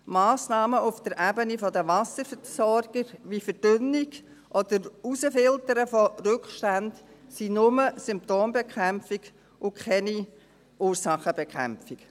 Massnahmen auf der Ebene der Wasserversorger wie Verdünnung oder Herausfiltern von Rückständen sind nur Symptombekämpfung und keine Ursachenbekämpfung.